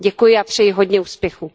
Děkuji a přeji hodně úspěchů.